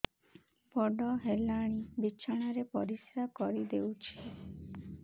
ବଡ଼ ହେଲାଣି ବିଛଣା ରେ ପରିସ୍ରା କରିଦେଉଛି